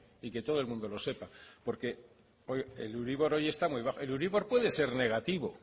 y que todo el mundo lo sepa porque el euribor hoy está muy bajo el euribor puede ser negativo